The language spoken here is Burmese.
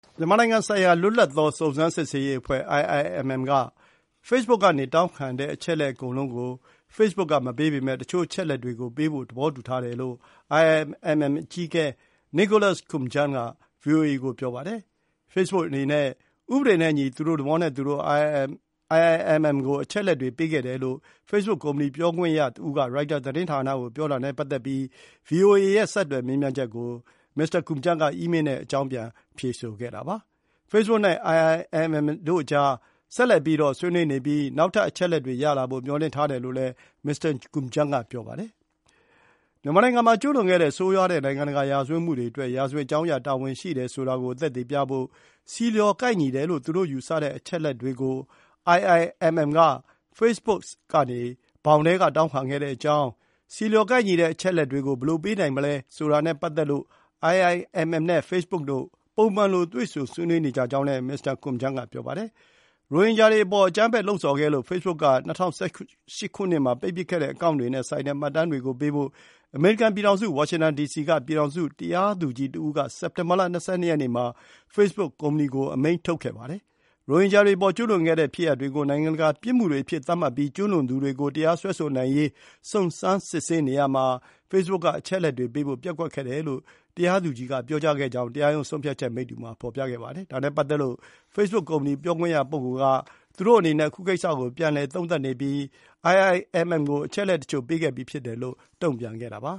မြန်မာနိုင်ငံဆိုင်ရာ လွတ်လပ်သော စုံစမ်းစစ်ဆေးရေးအဖွဲ့ (IIMM) က ဖေ့စ်ဘုတ်ဆီကနေ တောင်းခံတဲ့ အချက်အလက်အကုန်လုံးကို ဖေ့စ်ဘုတ်ကမပေးပေမယ့် တချို့အချက်အလက်တွေကိုပေးဖို့ သဘောတူထားတယ်လို့ IIMM အကြီးအကဲ Nicholas Koumjian က ဗွီအိုအေကိုပြောပါတယ်။ ဖေ့စ်ဘုတ်အနေနဲ့ ဥပဒေနဲ့အညီ သူတို့သဘောနဲ့သူတို့ IIMM ကို အချက်အလက်တွေ ပေးခဲ့တယ်လို့ ဖေ့စ်ဘုတ်ကုမ္ပဏီ ပြောခွင့်ရတဦးက ရိုက်တာသတင်းဌာနကို ပြောခဲ့တာနဲ့ပတ်သက်ပြီး ဗွီအိုအေရဲ့ ဆက်သွယ် မေးမြန်းချက်ကို မစ္စတာ Koumjian က အီးမေးလ်နဲ့ အကြောင်းပြန် ဖြေဆိုခဲ့တာပါ။ ဖေ့စ်ဘုတ်နဲ့ IIMM အကြား ဆက်ပြီးတော့ ဆွေးနွေးနေပြီး နောက်ထပ် အချက်အလက်တွေရလာဖို့ မျှော်လင့်ထားတယ်လို့လည်း မစ္စတာ Koumjian ကပြောပါတယ်။ IIMM ရဲ့ လုပ်ပိုင်ခွင့်ဘောင်ထဲမှာရှိတဲ့ မြန်မာနိုင်ငံမှာကျူးလွန်ခဲ့တဲ့ ဆိုးရွားတဲ့ နိုင်ငံတကာရာဇဝတ်မှုတွေအတွက် ရာဇဝတ်ကြောင်းအရ တာဝန်ရှိတယ်ဆိုတာကို သက်သေပြဖို့ ဆီလျော်ကိုက်ညီတယ်လို့ သူတို့ယူဆတဲ့ အချက်အလက်တွေကို IIMM က ဖေ့စ်ဘုတ်ဆီကနေ တောင်းခံခဲ့တဲ့အကြောင်း၊ IIMM က အချက်အလက်အမျိုးမျိုးကို တောင်းခံတဲ့ကိစ္စနဲ့ပတ်သက်လို့၊ ဆီလျော်ကိုက်ညီတဲ့ အချက်အလက်တွေကို ဘယ်လိုပေးနိုင်မလဲ ဆိုတာနဲ့ပတ်သက်လို့ IIMM နဲ့ ဖေ့စ်ဘုတ်တို့ ပုံမှန်လို တွေ့ဆုံဆွေးနွေးနေကြောင်းလည်း မစ္စတာ Komjian က ပြောပါတယ်။ ရိုဟင်ဂျာတွေအပေါ် အကြမ်းဖက်ဖို့ လှုံ့ဆော်ခဲ့လို့ Facebook က ၂၀၁၈ ခုနှစ်မှာ ပိတ်ပစ်ခဲ့တဲ့ အကောင့်တွေနဲ့ဆိုင်တဲ့ မှတ်တမ်းတွေကိုပေးဖို့ အမေရိကန်ပြည်ထောင်စု Washington D. C. က ပြည်ထောင်စု တရားသူကြီးတဦးက စက်တင်ဘာလ ၂၂ ရက်နေ့မှာ Facebook ကုမ္ပဏီကို အမိန့်ထုတ်ခဲ့ပါတယ်။ ရိုဟင်ဂျာတွေအပေါ် ကျူးလွန်ခဲ့တဲ့ ဖြစ်ရပ်တွေကို နိုင်ငံတကာပြစ်မှုတွေအဖြစ်သတ်မှတ်ပြီး ကျူးလွန်သူတွေကို တရားစွဲဆိုနိုင်ရေး စုံစမ်းစစ်ဆေးနေမှုမှာ Facebook က အချက်အလက်တွေပေးဖို့ ပျက်ကွက်ခဲ့တယ်လို့ တရားသူကြီးက ပြောကြားခဲ့ကြောင်း တရားရုံးဆုံးဖြတ်ချက်မိတ္တူမှာ ဖော်ပြခဲ့ပါတယ်။ ဒါနဲ့ပတ်သက်လို့ Facebook ကုမ္ပဏီ ပြောခွင့်ရက သူတို့အနေနဲ့ အခုကိစ္စကို ပြန်လည် သုံးသပ်နေပြီးတော့ IIMM ကို အချက်အလက်တချို့ ပေးခဲ့ပြီးဖြစ်တယ်လို့ တုံ့ပြန်ခဲ့တာပါ